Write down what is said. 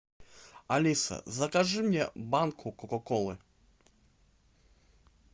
алиса закажи мне банку кока колы